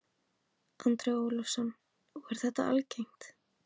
Andri Ólafsson: Og er þetta algengt?